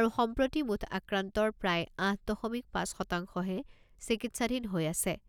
আৰু সম্প্ৰতি মুঠ আক্ৰান্তৰ প্ৰায় আঠ দশমিক পাঁচ শতাংশহে চিকিৎসাধীন হৈ আছে